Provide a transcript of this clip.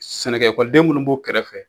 Sɛnɛkɔ ekɔliden minnu b'o kɛrɛfɛ